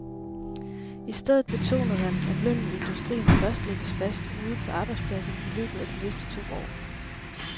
I stedet betonede han, at lønnen i industrien først lægges fast ude på arbejdspladserne i løbet af de næste to år.